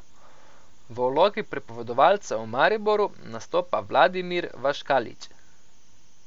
V vlogi pripovedovalca v Mariboru nastopa Vladimir Vlaškalić.